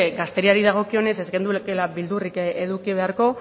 gazteriari dagokionez ez genukeela beldurrik eduki beharko